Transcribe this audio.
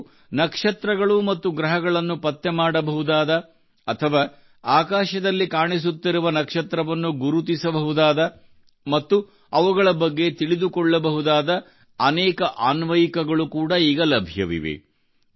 ನೀವು ನಕ್ಷತ್ರಗಳು ಮತ್ತು ಗ್ರಹಗಳನ್ನು ಪತ್ತೆ ಮಾಡಬಹುದಾದ ಅಥವಾ ಆಕಾಶದಲ್ಲಿ ಕಾಣಿಸುತ್ತಿರುವ ನಕ್ಷತ್ರವನ್ನು ಗುರುತಿಸಬಹುದಾದ ಮತ್ತು ಅವುಗಳ ಬಗ್ಗೆ ತಿಳಿದುಕೊಳ್ಳಬಹುದಾದ ಅನೇಕ ಅನ್ವಯಿಕಗಳು ಕೂಡಾ ಈಗ ಲಭ್ಯವಿದೆ